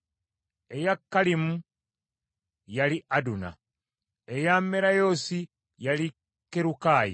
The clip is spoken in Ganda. eya Kalimu, yali Aduna; eya Merayoosi, yali Kerukayi;